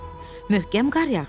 Möhkəm qar yağır.